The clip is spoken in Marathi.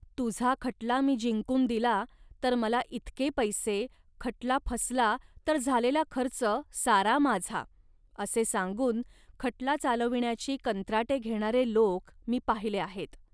तुझा खटला मी जिंकून दिला, तर मला इतके पैसे, खटला फसला, तर झालेला खर्च सारा माझा. असे सांगून खटला चालविण्याची कंत्राटे घेणारे लोक मी पाहिले आहेत